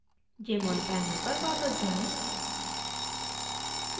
jmol panel पर वापस जाएँ